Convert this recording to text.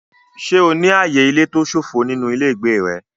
Ṣé o ní ààyè ilé tó ṣófo nínú ilé ìgbé rẹ?